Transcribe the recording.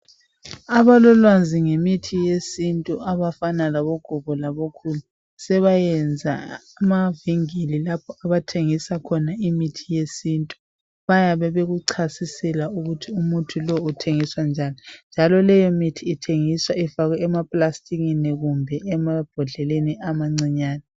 Abalolwazi ngemithi yesintu abafana labo gogo labo khulu sebayenza amavinkili lapho abathengisa khona imithi yesintu, bayakuchasisela ukuthi lowo muthi usebenza njani, njalo leyo mithi ithengiswa ifakwe emambodleleni amancane